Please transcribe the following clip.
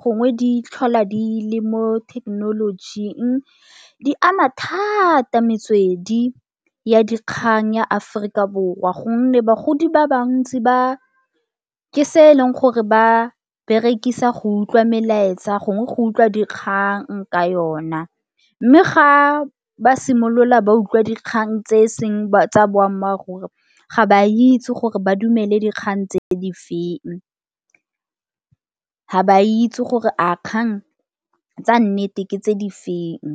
gongwe di tlhola di le mo thekenolojing di ama thata metswedi ya dikgang ya Aforika Borwa gonne bagodi ba bantsi ba ke se eleng gore ba berekisa go utlwa melaetsa gongwe go utlwa dikgang ka yona. Mme ga ba simolola ba utlwa dikgang tse e seng tsa boammaaruri ga ba itse gore ba dumele dikgang tse di feng, ga ba itse gore a dikgang tsa nnete ke tse di feng.